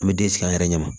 An bɛ den sigi an yɛrɛ ɲɛ ma